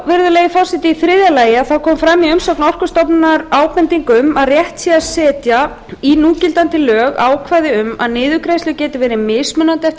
virðulegi forseti íþriðja lagi þá kom fram í umsögn orkustofnunar ábending um að rétt sé að setja í núgildandi lög ákvæði um að niðurgreiðslur geti verið mismunandi eftir